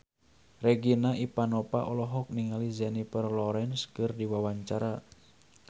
Regina Ivanova olohok ningali Jennifer Lawrence keur diwawancara